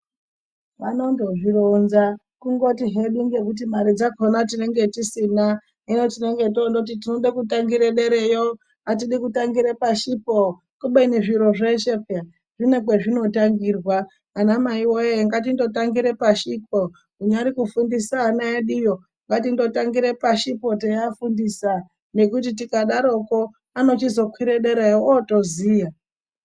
Vanondozvironza, kungoti hedu ngekuti mari dzakhona tinenge tisina. Hino tinenge toondoti tinode kutangire derayo, atidi kutangire pashipo, kubeni zviro zveshe pheya zvine kwezvinotangirwa. Anamaiwee, ngatindotangire pashipo, kunyari kufundisa ana eduyo, ngatindotangire pashipo teiafundisa. nekuti tikadarokwo ,anochizokwire derayo ooziya.